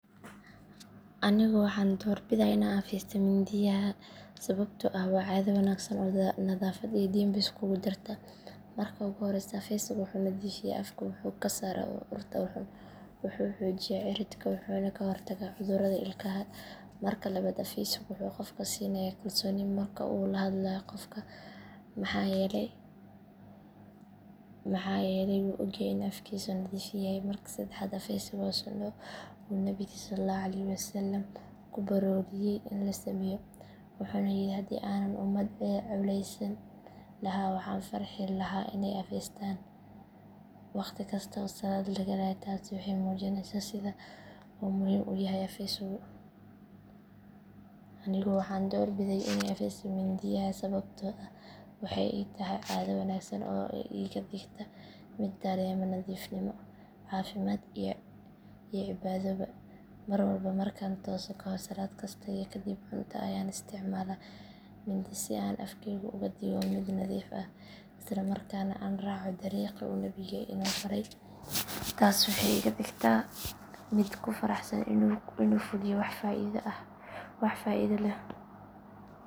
Anigu waxaan door bidaa inaan afaysto mindiyaha sababtoo ah waa caado wanaagsan oo nadaafad iyo diinba iskugu jirta. Marka ugu horreysa afaysigu wuxuu nadiifiyaa afka, wuxuu ka saaraa urta xun, wuxuu xoojiyaa ciridka, wuxuuna ka hortagaa cudurrada ilkaha. Marka labaad, afaysigu wuxuu qofka siinayaa kalsooni marka uu la hadlayo dadka maxaa yeelay wuu ogyahay in afkiisu nadiif yahay. Marka saddexaad, afaysigu waa sunnah oo uu Nebigeennu sallallaahu calayhi wasallam ku booriyay in la sameeyo, wuxuuna yidhi haddii aanan ummadda culaysin lahaa waxaan farxi lahaa inay afaystaan waqtikasta oo salaad la galayo. Taasi waxay muujinaysaa sida uu muhiim u yahay afaysigu. Anigu waxaan door biday inaan afaysto mindiyaha sababtoo ah waxay ii tahay caado wanaagsan oo iga dhigta mid dareema nadiifnimo, caafimaad iyo cibaadoba. Marwalba markaan tooso, kahor salaad kasta iyo kadib cunto ayaan isticmaalaa mindi si aan afkayga uga dhigo mid nadiif ah isla markaana aan raaco dariiqii uu Nebigu ina faray. Taasi waxay iga dhigtaa mid ku faraxsan inuu fuliyo wax faa’iido leh.